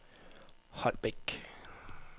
Holbæk